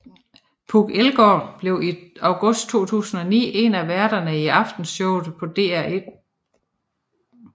Puk Elgård blev i august 2009 en af værterne i Aftenshowet på DR1